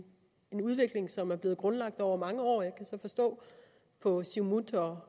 udvikling som er blevet grundlagt over mange år jeg kan så forstå på siumut